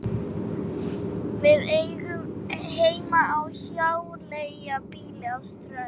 Við eigum heima á hjáleigubýli á Strönd.